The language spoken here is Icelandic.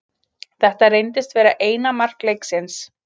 Þetta reyndist vera eina mark leiksins.